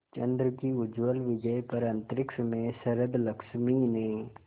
चंद्र की उज्ज्वल विजय पर अंतरिक्ष में शरदलक्ष्मी ने